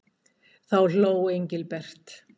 Þá hló Engilbert.